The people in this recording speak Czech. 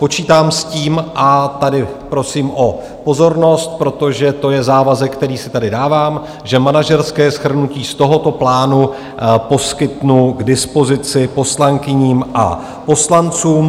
Počítám s tím - a tady prosím o pozornost, protože to je závazek, který si tady dávám - že manažerské shrnutí z tohoto plánu poskytnu k dispozici poslankyním a poslancům.